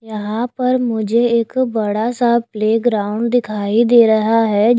यहां पर मुझे एक बड़ा सा प्लेग्राउंड दिखाई दे रहा है।